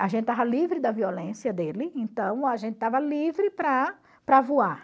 A gente estava livre da violência dele, então a gente estava livre para para voar.